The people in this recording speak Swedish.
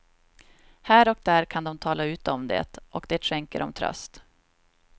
Här och där kan de tala ut om det, och det skänker dem tröst.